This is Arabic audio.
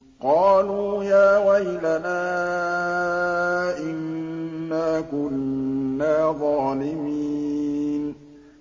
قَالُوا يَا وَيْلَنَا إِنَّا كُنَّا ظَالِمِينَ